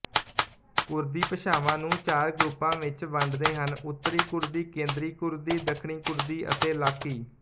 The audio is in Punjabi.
ਕੁਰਦੀ ਭਾਸ਼ਾਵਾਂ ਨੂੰ ਚਾਰ ਗਰੁੱਪਾਂ ਵਿੱਚ ਵੰਡਦੇ ਹਨਉੱਤਰੀ ਕੁਰਦੀ ਕੇਂਦਰੀ ਕੁਰਦੀ ਦੱਖਣੀ ਕੁਰਦੀ ਅਤੇ ਲਾਕੀ